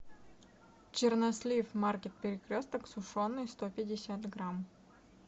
чернослив марки перекресток сушеный сто пятьдесят грамм